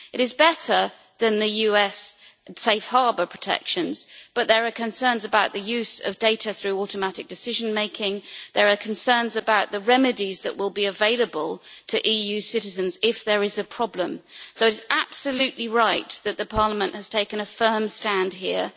It is better than the US Safe Harbour protections, but there are concerns about the use of data through automatic decision making, and there are concerns about the remedies that will be available to EU citizens if there is a problem. So it is absolutely right that Parliament has taken a firm stand here.